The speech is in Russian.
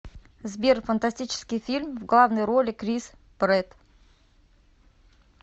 сбер фантастический фильм в главной роли крис прэтт